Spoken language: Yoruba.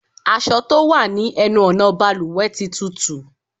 Aṣọ tó wà ní ẹnu ọ̀nà bàlùwẹ̀ tí túútúú.